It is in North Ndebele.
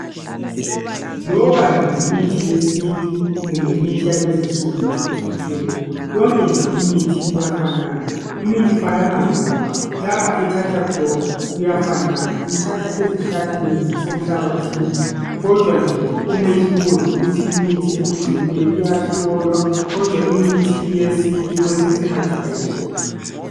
Loba nje yimithi yesintu lemithi lezi insuku ephucukileyo yonke nje imithi iyafanana ngoba lapha ethatha khona iyafanana ithatha ezihlahleni lase mhlabathini kodwa nje umehluko yikuthi imithi ephucukileyo iyahlolwa kodwa imithi yesintu kwesinye isikhathi ayihlolwa